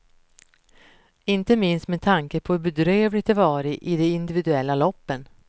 Inte minst med tanke på hur bedrövligt det varit i de individuella loppen.